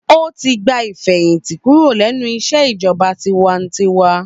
Ó ti gba ìfẹ̀hìtì kúrò lẹ́nu iṣẹ́ ìjọba tiwańtiwa.